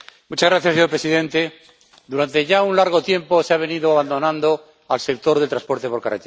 Señor presidente, durante ya un largo tiempo se ha venido abandonando al sector del transporte por carretera.